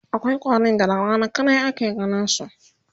akwai ƙwarin da da Rana kadai ake ganinsu